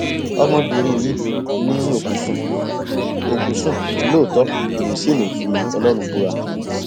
ọmọbìnrin yìí ni òkú sùn òkú sùn lóòótọ òun sì lè fi ọlọrun búra